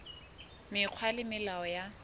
mekgwa le melao ya ho